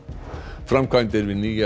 framkvæmdir við nýjar